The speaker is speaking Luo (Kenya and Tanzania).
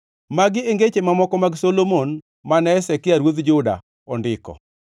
Magi e ngeche mamoko mag Solomon, mane jo-Hezekia ruodh Juda ondiko.